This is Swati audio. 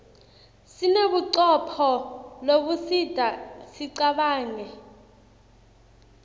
sinebucopho lobusidta sicabanqe